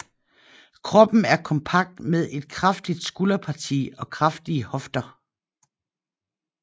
Kroppen er kompakt med et kraftigt skulderparti og kraftige hofter